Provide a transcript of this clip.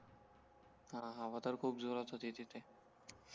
हां हवा तर खूप जोरात होती तिथे